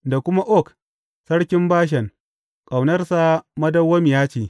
Da kuma Og sarkin Bashan, Ƙaunarsa madawwamiya ce.